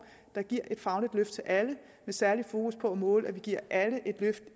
der giver et fagligt løft til alle med særligt fokus på at måle at vi giver alle et løft